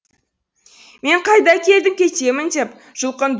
мен қайда келдім кетемін деп жұлқынды